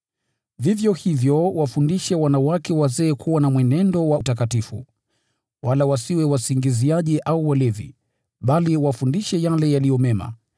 Vivyo hivyo, wafundishe wanawake wazee kuwa na mwenendo wa utakatifu, wala wasiwe wasingiziaji au walevi, bali wafundishe yale yaliyo mema,